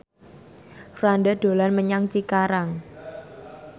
Franda dolan menyang Cikarang